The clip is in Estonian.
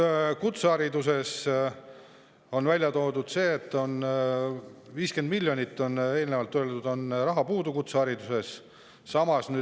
Kutsehariduse kohta on välja toodud, et 50 miljonit, nagu on eelnevalt öeldud, on kutsehariduses raha puudu.